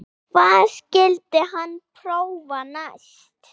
Hvað skyldi hann prófa næst?